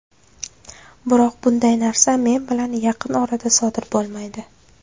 Biroq bunday narsa men bilan yaqin orada sodir bo‘lmaydi.